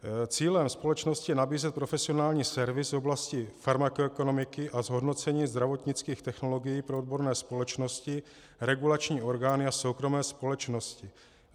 Cílem společnosti je nabízet profesionální servis v oblasti farmakoekonomiky a zhodnocení zdravotnických technologií pro odborné společnosti, regulační orgány a soukromé společnosti.